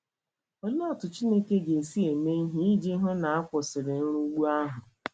Olee otú Chineke ga - esi eme ihe iji hụ na a kwụsịrị nrugbu ha?